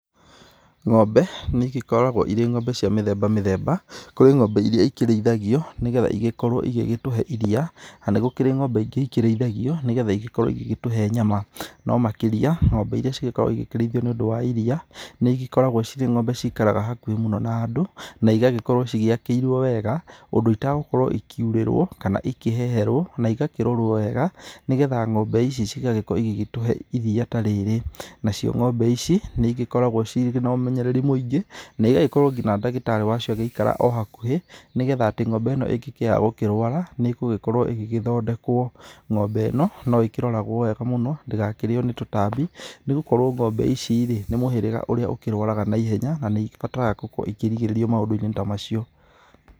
Ng'ombe nĩigĩkoragwo irĩ ng'ombe cia mũthemba mũthemba, kũrĩ ng'ombe irĩa ikĩrĩithagio nĩgetha ĩgĩkorwe igĩtũhe iria na nĩgũkĩrĩ ng'ombe ingĩ ikĩrĩithagio nĩgetha ikorwe igĩtũhe nyama, nomakĩria ng'ombe igĩkoragwo ikĩrĩithua nĩũndu wa iria nĩĩgĩkoragwo cirĩ ng'ombe ciraikara hakuhe na andũ na iakorwo ciakĩirwe wega ũndũ itagũkorwo ikĩũrĩrwa kana ikĩheherwo na igakĩrorwa weega nĩgetha ng'ombe ici igagĩkorwa igĩtũhe iria ta rĩrĩ, nacio ng'ombe ici nĩĩgĩkoragwa cina ũmenyereri mũingĩ na ĩgagĩkorwo nginya ndagĩtarĩ agũikara ohakuhĩ nĩgetha ng'ombe ĩno ĩngĩgĩa kũrwara nĩgũkorwa ĩgĩthondekwa, ng'ombe ĩno nĩroragwa weega mũno ndĩgakĩrĩwe nĩ tũtambi nĩgũkorwo ng'ombe ici ri nĩ mũhĩrĩga ũrĩa ũkĩrwarwaga naihenya na nĩibataraga kũrĩgĩrĩrwa maũndũini ta macio.